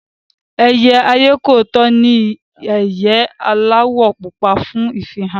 Ẹyẹ ayékòótọ́ ní ìyẹ́ aláwọ̀ púpọ̀ fún ìfihàn